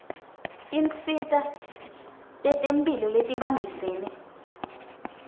tinsita tetemphilo letibambisene